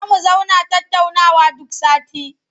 Za mu zauna tattaunawa duk sati.